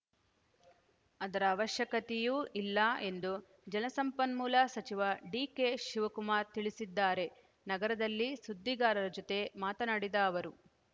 ಅದರ ಅವಶ್ಯಕತೆಯೂ ಇಲ್ಲ ಎಂದು ಜಲಸಂಪನ್ಮೂಲ ಸಚಿವ ಡಿಕೆಶಿವಕುಮಾರ್‌ ತಿಳಿಸಿದ್ದಾರೆ ನಗರದಲ್ಲಿ ಸುದ್ದಿಗಾರರ ಜೊತೆ ಮಾತನಾಡಿದ ಅವರು